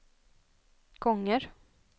gånger